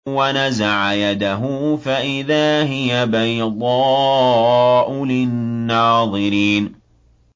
وَنَزَعَ يَدَهُ فَإِذَا هِيَ بَيْضَاءُ لِلنَّاظِرِينَ